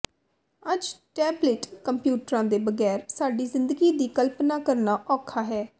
ਅੱਜ ਟੈਬਲਿਟ ਕੰਪਿਊਟਰਾਂ ਦੇ ਬਗੈਰ ਸਾਡੀ ਜ਼ਿੰਦਗੀ ਦੀ ਕਲਪਨਾ ਕਰਨਾ ਔਖਾ ਹੈ